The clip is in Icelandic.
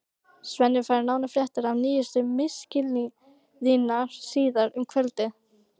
Svenni fær nánari fréttir af nýjustu misklíðinni síðar um kvöldið.